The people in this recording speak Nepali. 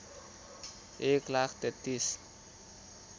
१ लाख ३३